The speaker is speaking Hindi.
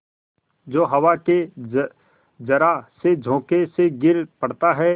जो हवा के जरासे झोंके से गिर पड़ता है